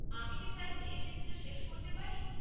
আমি কি স্যার এই লিস্টটা শেষ করতে পারি?